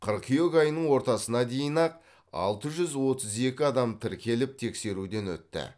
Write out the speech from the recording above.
қыркүйек айының ортасына дейін ақ алты жүз отыз екі адам тіркеліп тексеруден өтті